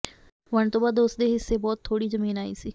ਵੰਡ ਤੋ ਬਾਅਦ ਉਸਦੇ ਹਿੱਸੇ ਬਹੁਤ ਥੋੜ੍ਹੀ ਜ਼ਮੀਨ ਆਈ ਸੀ